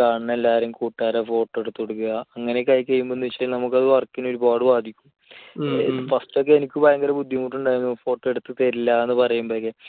കാണുന്ന എല്ലാവരേം കൂട്ടുകാരുടെ photo ഒക്കെ എടുത്തിടുക. അങ്ങനെയൊക്കെ ആയിക്കഴിയുമ്പോൾ എന്താണെന്നുവെച്ചാൽ അത് നമ്മുടെ work നെ ഒരുപാട് ബാധിക്കും. first ഒക്കെ എനിക്ക് ഭയങ്കര ബുദ്ധിമുട്ട് ഉണ്ടായിരുന്നു photo എടുത്തുതരില്ല എന്ന് പറയുമ്പോഴേയ്ക്ക്